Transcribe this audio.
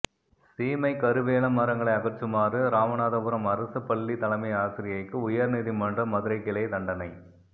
சீமைக் கருவேல மரங்களை அகற்றுமாறு ராமநாதபுரம் அரசு பள்ளி தலைமை ஆசிரியைக்கு உயர்நீதிமன்ற மதுரைக்கிளை தண்டனை